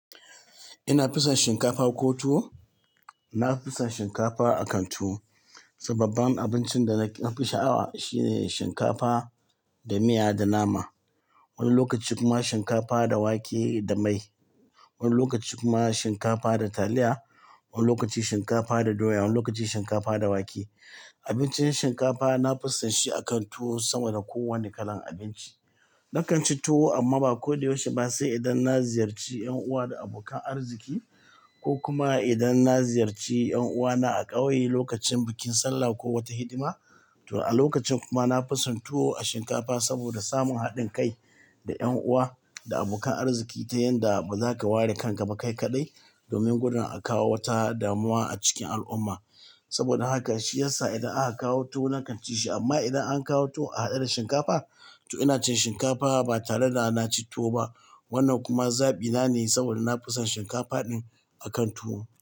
Ina fison shinkafa ko tuwo. Na fisan shinkafa a kan tuwo. Sababban abincin da na fi sha'awa shine shinkapa da miya da nama. Wani lokaci kuma shinkapa da wake da mai. Wani lokaci kuma shinkafa da taliya. Wani lokaci shinkapa da doya. Wani lokaci shinkapa da wake. Abincin shinkapa na pisan shi a kan tuwo sama da kowane kalan abinci. Na kan ci tuwo amma ba ko da yaushe ba se idan na ziyarci yan uwa da abokan arziki ko kuma idan na ziyarci yan uwana a ƙauye lokacin bikin sallah ko wata hidima. To a lokacin kuma na fison tuwo a shinkafa saboda samun haɗin kai da yan uwa da abokan arziki ta yanda ba za ka ware kan ka ba kai kaɗai domin gudun a kawo wata damuwa a cikin al'umma. Saboda haka shi yasa idan aka kawo tuwo na kan ci shi amma idan an kawo tuwo ahaɗe da shinkapa to ina cin shinkapa ba tara da na ci tuwo ba. Wannan kuma zaɓi na ne saboda na fisan shinkapa ɗin a kan tuwo.